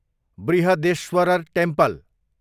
Brihadeeswarar temple